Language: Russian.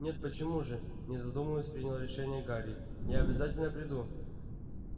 нет почему же не задумываясь принял решение гарри я обязательно приду